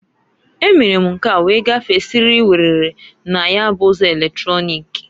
E mere m nke a wee gafee siriri werere na ya bụ ụzọ eletrọnịk.